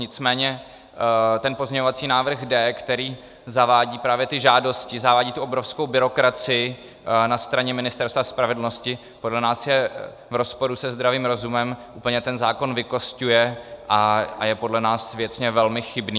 Nicméně ten pozměňovací návrh D, který zavádí právě ty žádosti, zavádí tu obrovskou byrokracii na straně Ministerstva spravedlnosti, podle nás je v rozporu se zdravým rozumem, úplně ten zákon vykosťuje a je podle nás věcně velmi chybný.